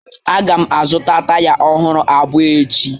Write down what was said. A ga m azụta taya ọhụrụ abụọ echi